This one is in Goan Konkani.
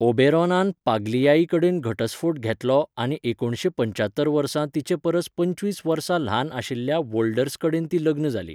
ओबेरोनान पाग्लियाई कडेन घटस्फोट घेतलो आनी एकुणशे पंच्यात्तर वर्सा तिचे परस पंचवीस वर्सां ल्हान आशिल्ल्या वोल्डर्स कडेन ती लग्न जाली.